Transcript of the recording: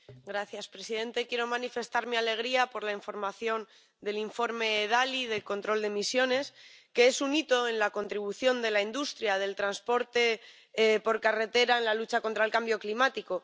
Señor presidente, quiero manifestar mi alegría por la aprobación del informe Dalli sobre el control de emisiones, que es un hito en la contribución de la industria del transporte por carretera a la lucha contra el cambio climático.